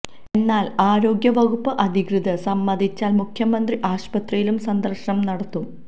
എന്നാൽ ആരോഗ്യ വകുപ്പ് അധികൃതർ സമ്മതിച്ചാൽ മുഖ്യമന്ത്രി ആശുപത്രിയിലും സന്ദർശനം നടത്തും